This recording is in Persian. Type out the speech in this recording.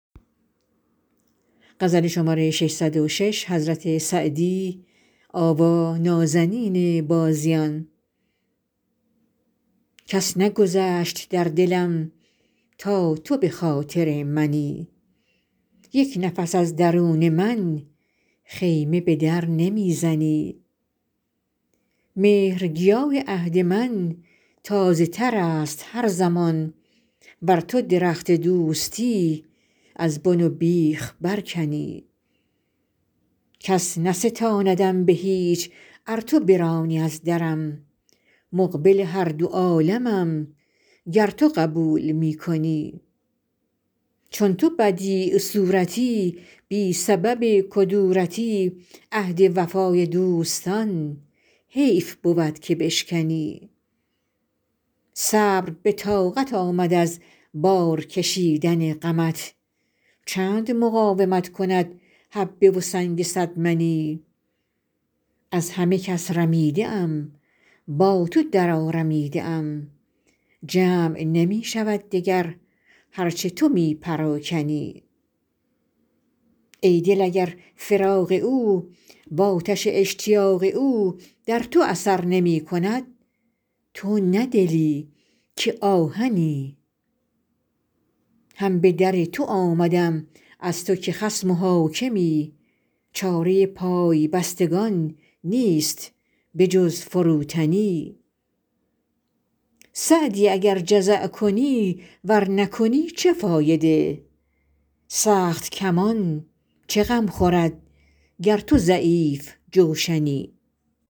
کس نگذشت در دلم تا تو به خاطر منی یک نفس از درون من خیمه به در نمی زنی مهرگیاه عهد من تازه تر است هر زمان ور تو درخت دوستی از بن و بیخ برکنی کس نستاندم به هیچ ار تو برانی از درم مقبل هر دو عالمم گر تو قبول می کنی چون تو بدیع صورتی بی سبب کدورتی عهد وفای دوستان حیف بود که بشکنی صبر به طاقت آمد از بار کشیدن غمت چند مقاومت کند حبه و سنگ صد منی از همه کس رمیده ام با تو درآرمیده ام جمع نمی شود دگر هر چه تو می پراکنی ای دل اگر فراق او وآتش اشتیاق او در تو اثر نمی کند تو نه دلی که آهنی هم به در تو آمدم از تو که خصم و حاکمی چاره پای بستگان نیست به جز فروتنی سعدی اگر جزع کنی ور نکنی چه فایده سخت کمان چه غم خورد گر تو ضعیف جوشنی